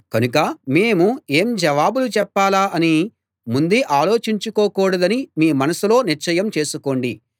కనుక మేము ఏం జవాబులు చెప్పాలా అని ముందే ఆలోచించుకోకూడదని మీ మనసులో నిశ్చయం చేసుకోండి